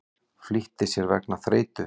Flýtti sér vegna þreytu